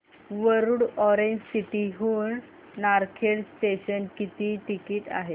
Warud orange city हून Narkhed junction किती ticket आहे